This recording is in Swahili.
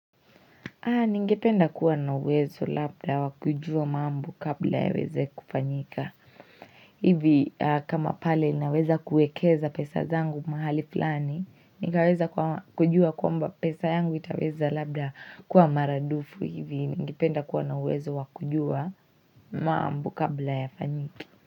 Ningependa kuwa na uwezo labda wa kujua mambo kabla yaweze kufanyika. Hivi kama pale naweza kuekeza pesa zangu mahali fulani, nikaweza kujua kwamba pesa yangu itaweza labda kuwa maradufu hivi. Ningependa kuwa na uwezo wa kujua mambo kabla yafanyike.